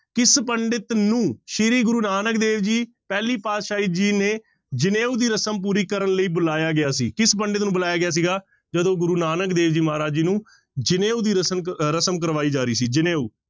ਕਿਸ ਪੰਡਿਤ ਨੂੰ ਸ੍ਰੀ ਗੁਰੂ ਨਾਨਕ ਦੇਵ ਜੀ ਪਹਿਲੀ ਪਾਤਿਸ਼ਾਹੀ ਜੀ ਨੇ ਜਨੇਊ ਦੀ ਰਸ਼ਮ ਪੂਰੀ ਕਰਨ ਲਈ ਬੁਲਾਇਆ ਗਿਆ ਸੀ, ਕਿਸ ਪੰਡਿਤ ਨੂੰ ਬੁਲਾਇਆ ਗਿਆ ਸੀਗਾ ਜਦੋਂ ਗੁਰੂ ਨਾਨਕ ਦੇਵ ਜੀ ਮਹਾਰਾਜ ਜੀ ਨੂੰ ਜਨੇਊ ਦੀ ਰਸ਼ਮ ਰਸ਼ਮ ਕਰਵਾਈ ਜਾ ਰਹੀ ਸੀ ਜਨੇਊ।